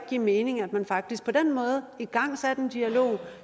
give mening at man faktisk på den måde igangsatte en dialog